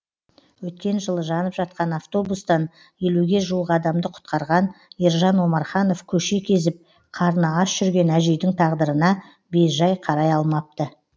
өткен жылы жанып жатқан автобустан елуге жуық адамды құтқарған ержан омарханов көше кезіп қарны аш жүрген әжейдің тағдырына бейжай қарай алмапты